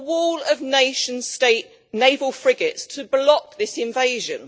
A wall of nation state naval frigates to block this invasion.